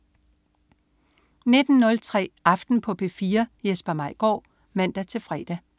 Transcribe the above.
19.03 Aften på P4. Jesper Maigaard (man-fre)